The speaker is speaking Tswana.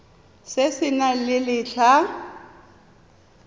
se se nang le letlha